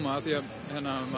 af því að hann var